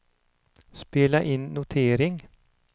spela in notering